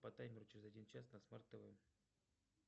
по таймеру через один час на смарт тв